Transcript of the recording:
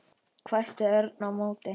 hvæsti Örn á móti.